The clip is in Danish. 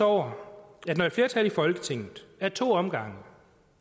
over at regeringen når et flertal i folketinget ad to omgange